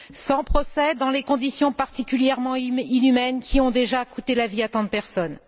sans procès, dans des conditions particulièrement inhumaines qui ont déjà coûté la vie à tant de personnes.